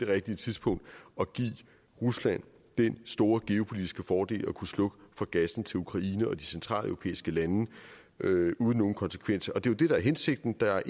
rigtige tidspunkt at give rusland den store geopolitiske fordel at kunne slukke for gassen til ukraine og de centraleuropæiske lande uden nogen konsekvenser det er jo det der er hensigten der er